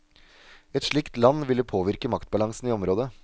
Et slikt land ville påvirke maktbalansen i området.